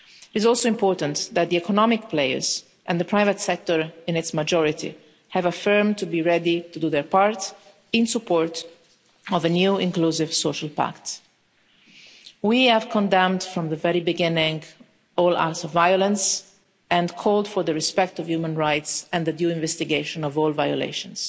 It is also important that the economic players and the private sector in its majority have affirmed they are ready to do their part in support of a new inclusive social pact. We have condemned from the very beginning all acts of violence and called for respect for human rights and the due investigation of all violations.